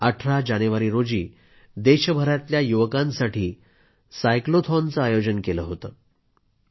18 जानेवारी रोजी देशभरातल्या युवकांसाठी सायक्लोथॉनचं आयोजन केलं होतं